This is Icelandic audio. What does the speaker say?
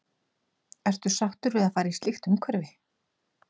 Ertu sáttur við að fara í slíkt umhverfi?